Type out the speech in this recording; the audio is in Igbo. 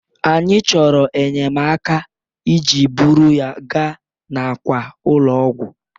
anyị chọrọ enyemaka iji buru ya gaa n'àkwà ụlọ ọgwụ